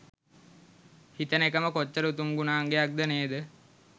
හිතන එකම කොච්චර උතුම් ගුණයක්ද නේද?